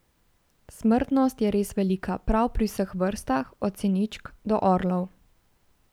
Smrtnost je res velika prav pri vseh vrstah, od siničk do orlov.